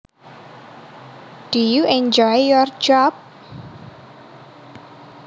Do you enjoy your job